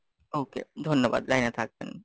okay, ধন্যবাদ, লাইনে থাকবেন।